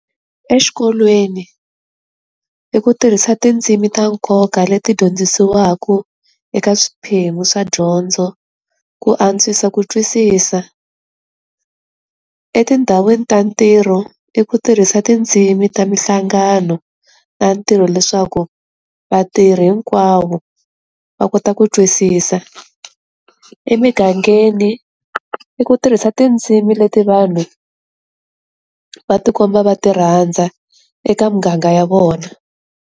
Exikolweni i ku tirhisa tindzimi ta nkoka leti dyondzisiwaka eka swiphemu swa dyondzo ku antswisa ku twisisa, etindhawini ta ntirho i ku tirhisa tindzimi ta mihlangano ta ntirho leswaku vatirhi hinkwavo va kota ku twisisa, emingangeni i ku tirhisa tindzimi leti vanhu va tikomba va ti rhandza eka muganga ya vona.